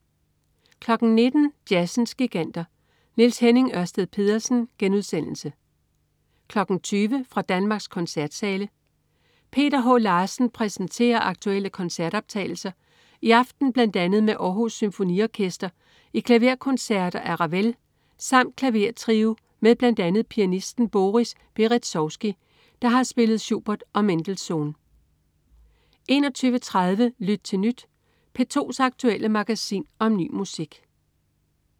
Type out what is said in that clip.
19.00 Jazzens Giganter. Niels-Henning Ørsted Pedersen* 20.00 Fra Danmarks Koncertsale. Peter H. Larsen præsenterer aktuelle koncertoptagelser, i aften bl.a. med Århus Symfoniorkster i klaverkoncerter af Ravel samt klavertrio med bl.a. pianisten Boris Berezovsky, der har spillet Schubert og Mendelssohn 21.30 Lyt til Nyt. P2's aktuelle magasin om ny musik